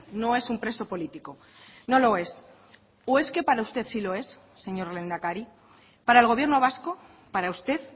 no es un preso político no lo es o es que para usted sí lo es señor lehendakari para el gobierno vasco para usted